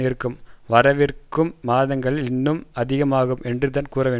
இருக்கும் வரவிருக்கும் மாதங்களில் இன்னும் அதிகமாகும் என்றுதான் கூறவேண்டும்